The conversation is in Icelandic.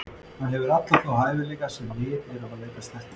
Hann hefur alla þá hæfileika sem við erum að leitast eftir.